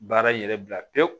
Baara in yɛrɛ bila pewu